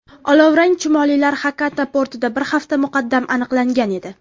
Olovrang chumolilar Xakata portida bir hafta muqaddam aniqlangan edi.